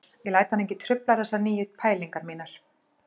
Ég læt hann ekki trufla þessar nýju pælingar mínar